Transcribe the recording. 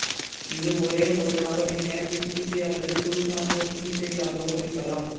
இது ஒரே ஒரு நபரின் நேரடி சிகிச்சை அல்லது குழு சார்ந்த சிகிச்சையாகவோ இருக்கலாம்